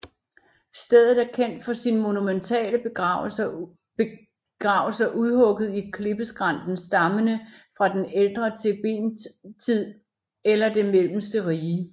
Stedet er kendt for sine monumentale begravelser udhugget i klippeskrænten stammende fra den ældre Thebentid eller det mellemste rige